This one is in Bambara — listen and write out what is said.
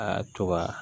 Aa to ka